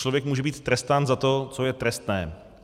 Člověk může být trestán za to, co je trestné.